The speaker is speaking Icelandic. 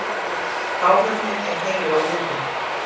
Áhöfnin er heil á húfi